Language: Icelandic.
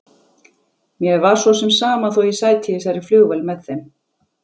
Mér var svo sem sama þó ég sæti í þessari flugvél með þeim.